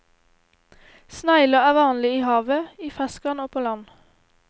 Snegler er vanlig i havet, i ferskvann og på land.